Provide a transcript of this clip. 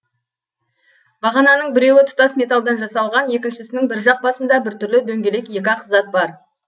бағананың біреуі тұтас металдан жасалған екіншісінің бір жақ басында біртүрлі дөңгелек екі ақ зат бар